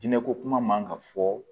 Diinɛ ko kuma man ka fɔ